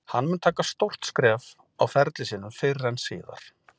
Hann mun taka stórt skref á ferli sínum fyrr en síðar.